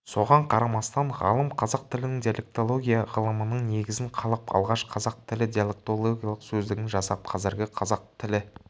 соған қарамастан ғалым қазақ тілінің диалектология ғылымының негізін қалап алғаш қазақ тілі диалектологиялық сөздігін жасап қазіргі қазақ тілі